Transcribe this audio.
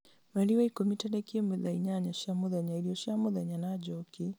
mweri wa ikũmi tarĩki ĩmwe thaa inyanya cia mũthenya irio cia mũthenya na njoki